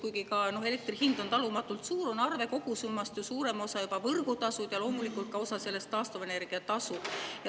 Kuigi ka elektri hind on talumatult suur, on arve kogusummast suurem osa juba võrgutasud ja loomulikult on osa sellest ka taastuvenergia tasu.